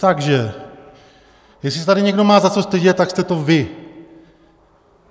Takže jestli se tady někdo má za co stydět, tak jste to vy!